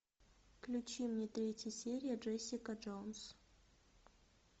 включи мне третья серия джессика джонс